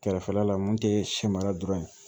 Kɛrɛfɛla la mun tɛ siyɛ mara dɔrɔn ye